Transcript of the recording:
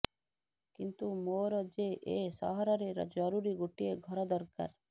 କିନ୍ତୁ ମୋର ଯେ ଏ ସହରରେ ଜରୁରୀ ଗୋଟିଏ ଘର ଦରକାର